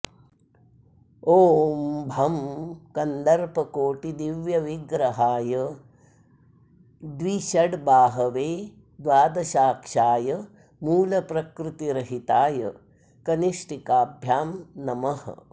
ॐ भं कन्दर्पकोटिदिव्यविग्रहाय द्विषड्बाहवे द्वादशाक्षाय मूलप्रकृतिरहिताय कनिष्ठिकाभ्यां नमः